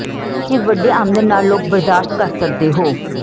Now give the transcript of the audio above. ਇਹ ਸਿਰਫ ਵੱਡੇ ਆਮਦਨ ਨਾਲ ਲੋਕ ਬਰਦਾਸ਼ਤ ਕਰ ਸਕਦੇ ਹੋ